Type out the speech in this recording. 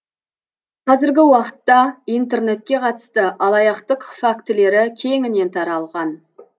қазіргі уақытта интернетке қатысты алаяқтық фактілері кеңінен таралған